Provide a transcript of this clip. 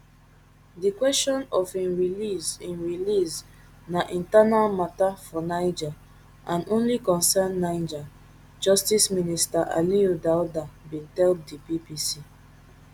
di kwesion of im release im release na internal mata for niger and only concern niger justice minister aliyou daouda bin tell di bbc